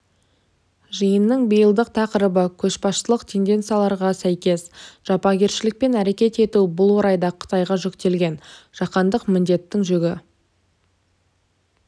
жиынның биылдық тақырыбы көшбасшылық тенденцияларға сәйкес жапакершілікпен әрекет ету бұл орайда қытайға жүктелген жаһандық міндеттің жүгі